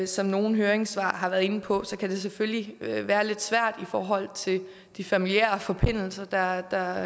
som nogle høringssvar har været inde på kan det selvfølgelig være lidt svært i forhold til de familiære forbindelser der